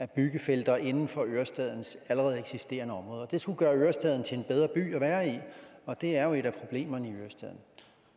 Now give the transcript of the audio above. byggefelter inden for ørestadens allerede eksisterende områder det skulle gøre ørestaden til en bedre by at være i og det er jo et af problemerne i ørestaden